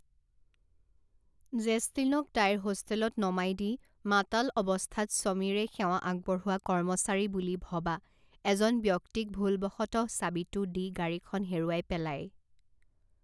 জেছলীনক তাইৰ হোষ্টেলত নমাই দি মাতাল অৱস্থাত সমীৰে সেৱা আগবঢ়োৱা কৰ্মচাৰী বুলি ভবা এজন ব্যক্তিক ভুলবশতঃ চাবিটো দি গাড়ীখন হেৰুৱাই পেলায়।